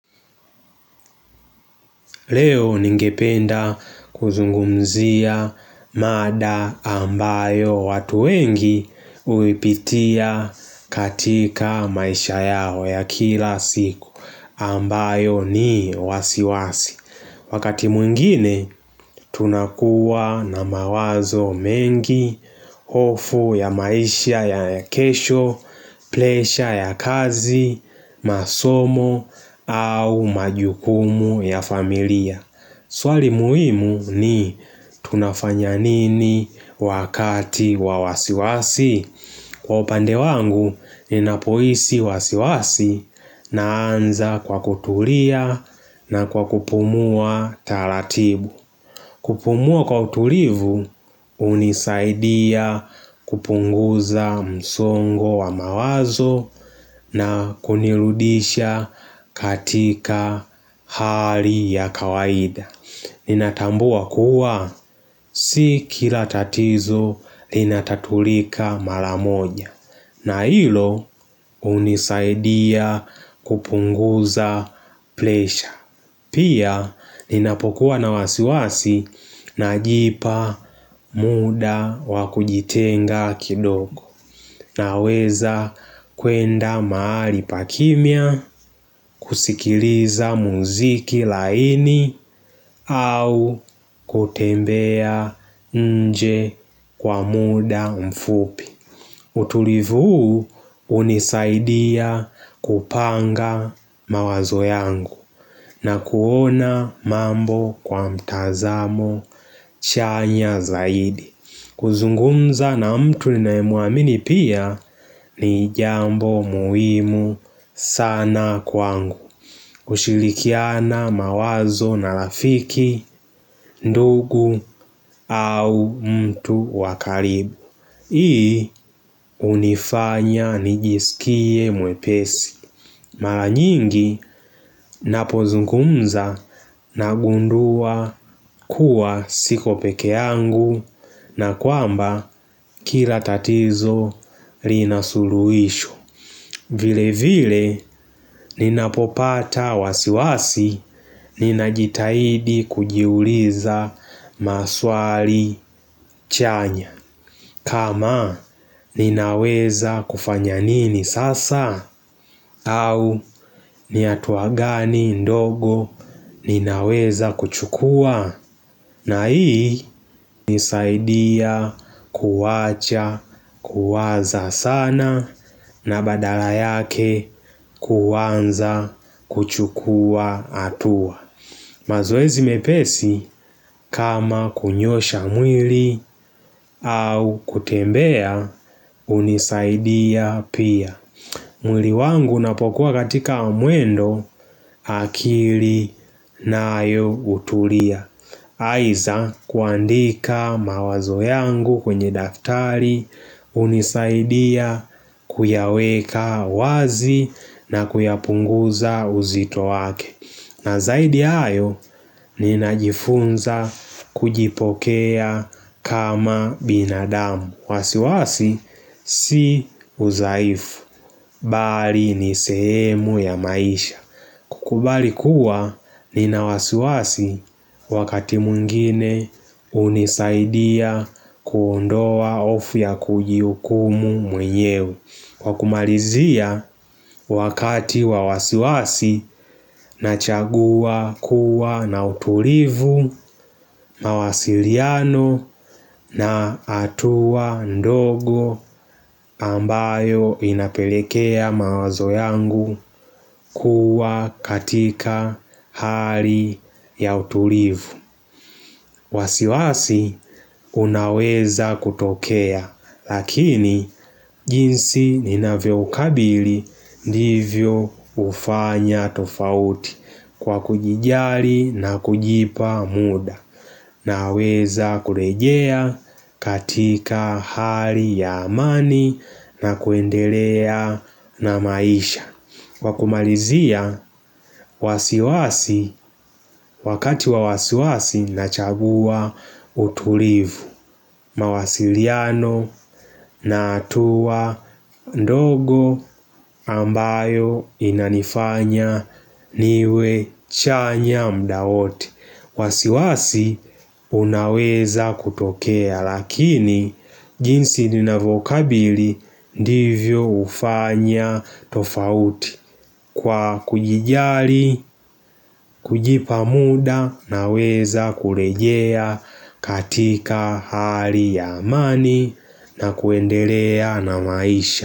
Leo ningependa kuzungumzia mada ambayo watu wengi huipitia katika maisha yao ya kila siku ambayo ni wasiwasi. Wakati mwingine tunakuwa na mawazo mengi, hofu ya maisha ya kesho, presha ya kazi, masomo au majukumu ya familia. Swali muhimu ni tunafanya nini wakati wa wasiwasi Kwa upande wangu ni napohisi wasiwasi naanza kwa kutulia na kwa kupumua taratibu kupumua kwa utulivu hunisaidia kupunguza msongo wa mawazo na kunirudisha katika hali ya kawaida Ninatambua kuwa si kila tatizo linatatulika maramoja na hilo hunisaidia kupunguza presha. Pia ninapokuwa na wasiwasi najipa muda wakujitenga kidogo naweza kwenda mahali pa kimia kusikiliza muziki laini au kutembea nje kwa muda mfupi. Utulivu huu hunisaidia kupanga mawazo yangu na kuona mambo kwa mtazamo chanya zaidi. Kuzungumza na mtu ninaemwamini pia ni jambo muhimu sana kwangu. Ushirikiana mawazo na rafiki, ndugu au mtu wa karibu. Hii hunifanya nijisikie mwepesi Mara nyingi napozungumza nagundua kuwa siko peke yangu na kwamba kila tatizo linasuluhisho vile vile ninapopata wasiwasi ninajitahidi kujiuliza maswali chanya kama ninaweza kufanya nini sasa au ni hatua gani ndogo ninaweza kuchukua na hii unisaidia kuwacha kuwaza sana na badala yake kuanza kuchukua hatua. Mazoezi mepesi kama kunyosha mwili au kutembea hunisaidia pia mwili wangu napokuwa katika mwendo akili na ayo utulia Aidha kuandika mawazo yangu kwenye daftari hunisaidia kuyaweka wazi na kuyapunguza uzito wake na zaidi ya hayo ninajifunza kujipokea kama binadamu wasiwasi si udhaifu Bali ni sehemu ya maisha kukubali kuwa ninawasiwasi wakati mwingine hunisaidia kuondoa hofu ya kujiukumu mwenyewe kwa kumalizia wakati wa wasiwasi nachagua kuwa na utulivu mawasiliano na hatua ndogo ambayo inapelekea mawazo yangu kuwa katika hali ya utulivu. Wasiwasi unaweza kutokea lakini jinsi ninavyo ukabili ndivyo hufanya tofauti kwa kujijali na kujipa muda naweza kurejea katika hali ya amani na kuendelea na maisha. Kwa kumalizia wasiwasi wakati wa wasiwasi nachagua utulivu mawasiliano na hatua ndogo ambayo inanifanya niwe chanya muda wote. Wasiwasi unaweza kutokea lakini jinsi ninavyokabili ndivyo hufanya tofauti kwa kujijali, kujipa muda naweza kurejea katika hali ya amani na kuendelea na maisha.